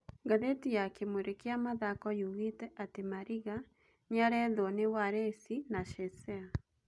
Ngathĩti ya Kimũri kĩa Mathako yugĩte atĩ Mariga nĩarethũo ni Walesi na Shesea.